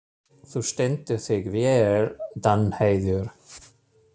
Þú stendur þig vel, Danheiður!